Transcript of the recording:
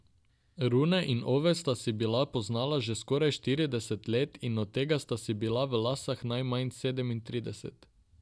Rune in Ove sta se bila poznala že skoraj štirideset let in od tega sta si bila v laseh najmanj sedemintrideset.